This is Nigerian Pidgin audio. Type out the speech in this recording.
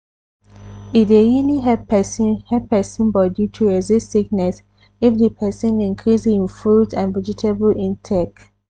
e dey really help persin help persin body to resist sickness if di persin increase hin fruit and vegetable intake.